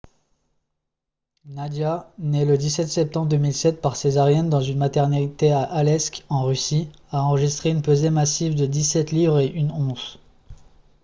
nadia née le 17 septembre 2007 par césarienne dans une maternité à aleisk en russie a enregistré une pesée massive de 17 livres et 1 once